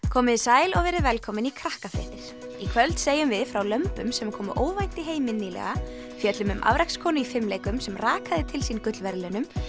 komiði sæl og verið velkomin í Krakkafréttir í kvöld segjum við frá lömbum sem komu óvænt í heiminn nýlega fjöllum um í fimleikum sem rakaði til sín gullverðlaunum